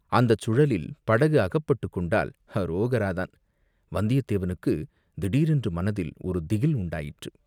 அந்தச் சுழலில் படகு அகப்பட்டுக் கொண்டால் அரோகராதான்." வந்தியத்தேவனுக்குத் திடீரென்று மனத்தில் ஒரு திகில் உண்டாயிற்று.